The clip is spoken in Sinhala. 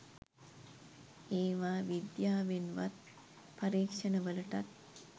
ඒවා විද්‍යාවෙන්වත් පරීක්ෂණ වලටත්